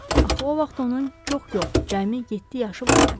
Axı o vaxt onun çox yox, cəmi yeddi yaşı vardı.